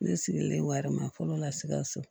Ne sigilen wara ma fɔlɔ la sikaso